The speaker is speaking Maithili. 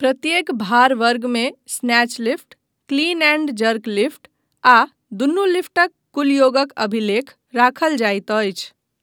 प्रत्येक भार वर्गमे snatch lift, clean and jerk lift आ दुनू लिफ्टक कुल योगक अभिलेख राखल जाइत अछि।